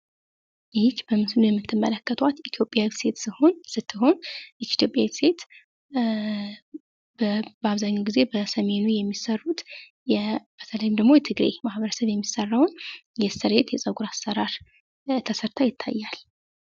በምስሉ ላይ የምትመለከቷት ኢትዮጵያዊ ሴት ስትሆን ፤ በሰሜኑ የኢትዮጵያ ክፍል ማለትም በትግራይ ክልል የተለመደውን የጸጉር አሰራር ተሰርታ ያሳያል ።